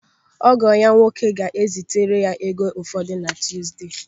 Ọgọ ya nwoke ga-ezitere ego ụfọdụ na Tuuzde.